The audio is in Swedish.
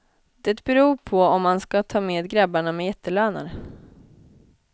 Det beror på om man ska ta med grabbarna med jättelöner.